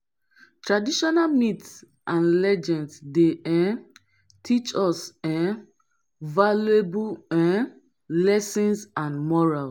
traditonal myths and legends dey um teach us um valuable um lessons and morals.